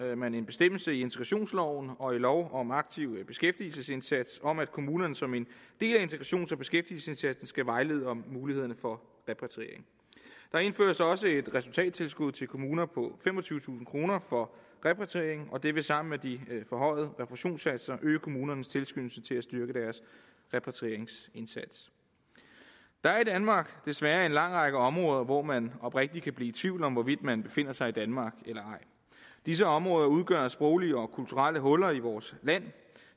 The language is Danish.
man en bestemmelse i integrationsloven og i lov om aktiv beskæftigelsesindsats om at kommunerne som en del af integrations og beskæftigelsesindsatsen skal vejlede om mulighederne for repatriering der indføres også et resultattilskud til kommuner på femogtyvetusind kroner for repatrieringen og det vil sammen med de forhøjede refusionssatser øge kommunernes tilskyndelse til at styrke deres repatrieringsindsats der er i danmark desværre en lang række områder hvor man oprigtig kan blive tvivl om hvorvidt man befinder sig i danmark eller ej disse områder udgør sproglige og kulturelle huller i vores land